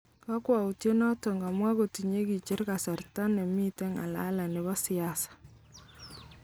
Kokwoutyet noton, kamwa, kotinye kicher kasarta nemiten ngalalet nebo siasa.